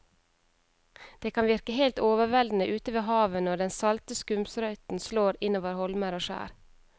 Det kan virke helt overveldende ute ved havet når den salte skumsprøyten slår innover holmer og skjær.